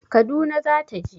Kaduna za ta je